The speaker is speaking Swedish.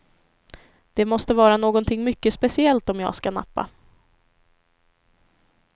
Det måste vara någonting mycket speciellt om jag ska nappa.